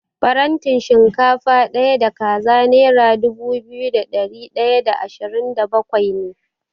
Farantin shinkafa ɗaya da kaza nera dubu biyu da ɗari ɗaya da ashirin da bakwai ne.